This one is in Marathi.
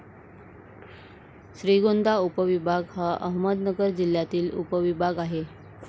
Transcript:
श्रीगोंदा उपविभाग हा अहमदनगर जिल्ह्यातील उपविभाग आहे.